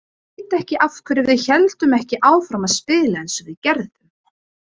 Ég veit ekki af hverju við héldum ekki áfram að spila eins og við gerðum.